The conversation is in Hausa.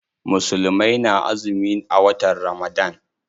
Musulmai na azumi a watan Ramadan.